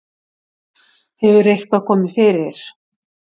Hefur eitthvað komið fyrir?